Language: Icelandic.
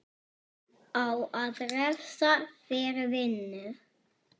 Á að refsa fyrir vinnu?